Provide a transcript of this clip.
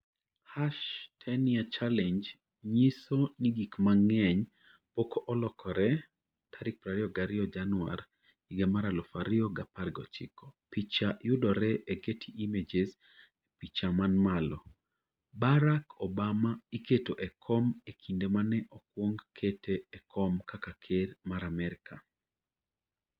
#10YearChallenge nyiso ni gik mang'eny pok olokore 22 Januar, 2019 Picha yudore e Getty Images E picha man malo, Barack Obama iketo e kom e kinde ma ne okwong kete e kom kaka Ker mar Amerka.